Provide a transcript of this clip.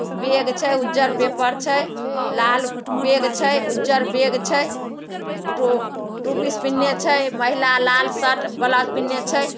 Bag छे उज्जर paper छे लाल बैग छे उज्जर बैग छे। टू टू पीस पेन्हले छे महिला लाल शर्ट ब्लाउज पेन्हले छे।